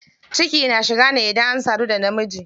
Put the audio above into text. Ciki na shiga ne idan an sadu da na miji.